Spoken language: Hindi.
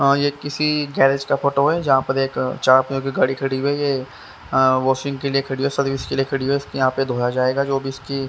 यह किसी गैरेज का फोटो है जहाँ पर एक चार पहिया की गाड़ी खड़ी हुई है यह वाशिंग के लिए खड़ी है सर्विस के लिए खड़ी हुई है इसको यहाँ पे धोया जाएगा जो भी इसकी--